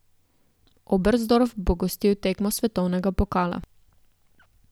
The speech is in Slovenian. Oberstdorf bo gostil tekmo svetovnega pokala.